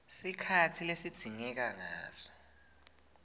sikhatsi lesidzingeka ngaso